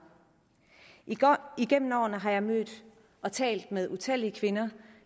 igennem årene har jeg mødt og talt med utallige kvinder